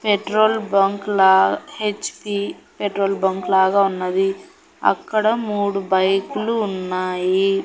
Petrol bunk లా H P petrol bunk లాగ ఉన్నది అక్కడ మూడు బైకులు ఉన్నాయి.